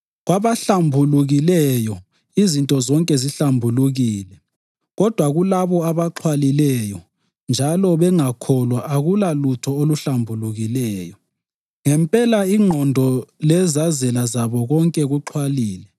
Kwabahlambulukileyo izinto zonke zihlambulukile kodwa kulabo abaxhwalileyo njalo bengakholwa akulalutho oluhlambulukileyo. Ngempela, ingqondo lezazela zabo konke kuxhwalile.